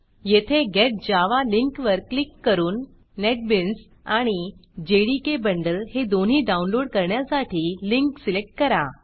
येथे get Java get Java लिंकवर click करून नेटबीन्स आणि जेडीके बंडल हे दोन्ही डाऊनलोड करण्यासाठी लिंक सिलेक्ट करा